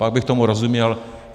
Pak bych tomu rozuměl.